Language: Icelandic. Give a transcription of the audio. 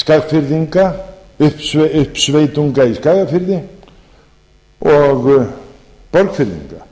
skagfirðinga uppsveitunga í skagafirði og borgfirðinga